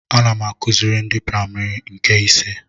Ana m akụziri ndị praimarị nke ise